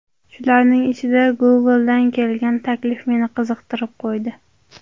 Shularning ichida Google’dan kelgan taklif meni qiziqtirib qo‘ydi.